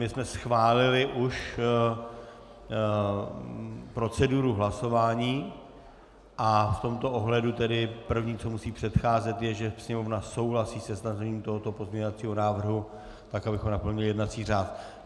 My jsme schválili už proceduru hlasování a v tomto ohledu tedy první, co musí předcházet, je, že Sněmovna souhlasí se stažením tohoto pozměňovacího návrhu, tak abychom naplnili jednací řád.